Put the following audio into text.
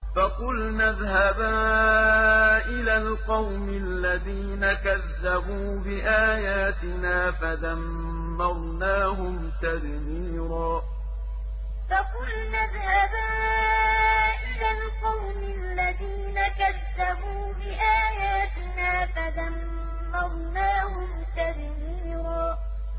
فَقُلْنَا اذْهَبَا إِلَى الْقَوْمِ الَّذِينَ كَذَّبُوا بِآيَاتِنَا فَدَمَّرْنَاهُمْ تَدْمِيرًا فَقُلْنَا اذْهَبَا إِلَى الْقَوْمِ الَّذِينَ كَذَّبُوا بِآيَاتِنَا فَدَمَّرْنَاهُمْ تَدْمِيرًا